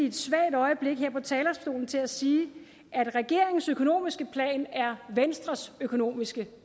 et svagt øjeblik her på talerstolen til at sige at regeringens økonomiske plan er venstres økonomiske